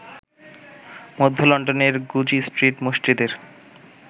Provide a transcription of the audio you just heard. মধ্য লন্ডনের Goodge Street মসজিদের